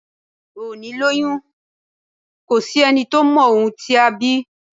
Òní lọyún, ko sí ení tọ mọ ohún tí á bí